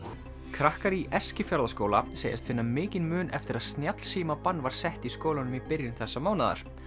krakkar í segjast finna mikinn mun eftir að var sett í skólanum í byrjun þessa mánaðar